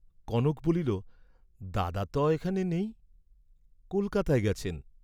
কনক বলিল, "দাদা ত এখানে নেই, কলকাতায় গেছেন।"